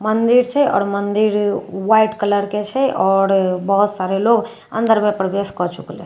मंदिर छै आओर मंदिर ह्वाइट कलर के छै आओर बहुत सारे लोग अंदर में प्रवेश कए चुकलहि --